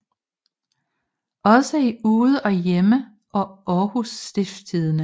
Også i Ude og Hjemme og Århus Stiftstidende